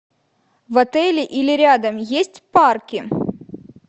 в отеле или рядом есть парки